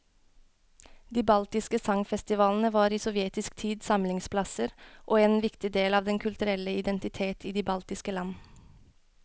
De baltiske sangfestivalene var i sovjetisk tid samlingsplasser og en viktig del av den kulturelle identitet i de baltiske land.